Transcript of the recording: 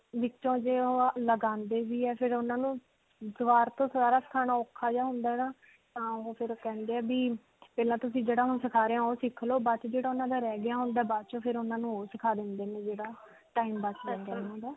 ਜੇ ਓਹ ਲਗਾਉਂਦੇ ਵੀ ਹੈ ਫਿਰ ਉਨ੍ਹਾਂ ਨੂੰ ਦੋਬਾਰ ਤੋਂ ਸਾਰਾ ਸਿਖਾਉਂਦਾ ਔਖਾ ਜਿਹਾ ਹੋ ਜਾਂਦਾ ਹੈ ਤਾਂ ਓਹ ਫਿਰ ਕਹਿੰਦੇ ਹੈ ਵੀ ਪਹਿਲਾਂ ਜਿਹੜਾ ਸਿਖਾ ਰਹੇ ਹਾਂ ਓਹ ਸਿਖ ਲੋ ਬਾਕੀ ਜਿਹੜਾ ਓਨ੍ਹਾਂ ਦਾ ਰਹਿ ਗਿਆ ਓਹ ਬਾਅਦ 'ਚੋਂ ਫਿਰ ਉਨ੍ਹਾਂ ਨੂੰ ਓਹ ਸਿਖਾ ਦਿੰਦੇ ਨੇ ਜਿਹੜਾ time ਬੱਚ ਜਾਂਦਾ ਉਨ੍ਹਾਂ ਦਾ.